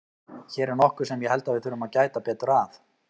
Hér er nokkuð sem ég held að við þurfum að gæta betur að.